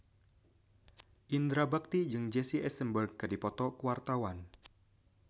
Indra Bekti jeung Jesse Eisenberg keur dipoto ku wartawan